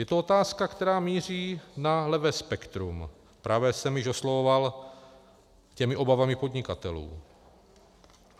Je to otázka, která míří na levé spektrum, pravé jsem již oslovoval těmi obavami podnikatelů.